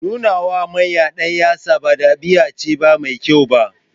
Nuna wa manya ɗanyatsa ba ɗabi'a ce mai kyau ba.